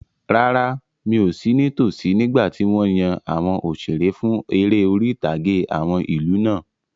Rárá, mi ò sí ní tosí nígbàtí wọ́n yan àwọn òṣeré fún eré orí-ìtàgé àwọn ìlú náà